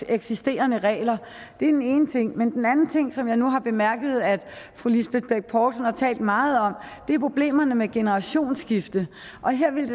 eksisterende regler det er den ene ting men den anden ting som jeg nu har bemærket at fru lisbeth bech poulsen har talt meget om er problemerne med generationsskifte og her ville